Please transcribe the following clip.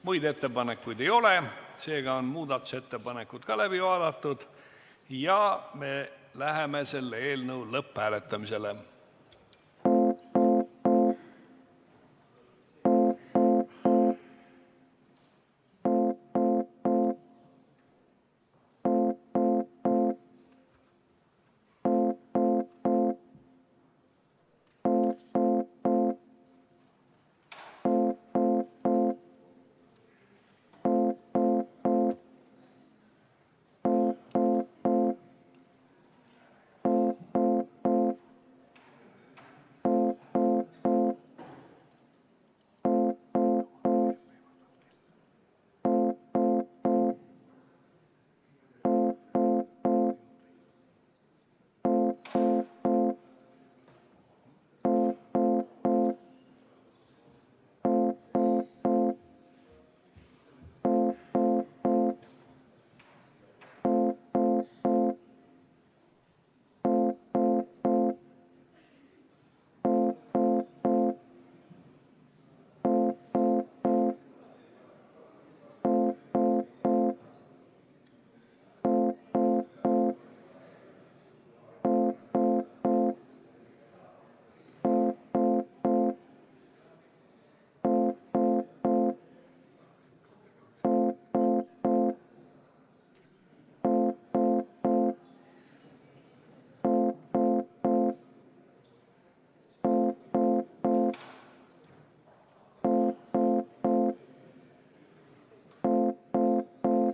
Muid ettepanekuid ei ole, seega on muudatusettepanekud läbi vaadatud ja me läheme eelnõu lõpphääletuse juurde.